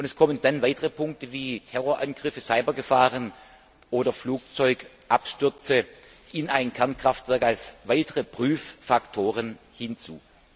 Dann kommen noch weitere Punkte wie Terrorangriffe, Cybergefahren oder Flugzeugabstürze in ein Kernkraftwerk als weitere Prüffaktoren hinzu.